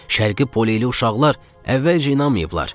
Şərqi poleyli uşaqlar əvvəlcə inanmayıblar.